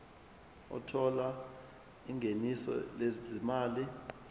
othola ingeniso lezimali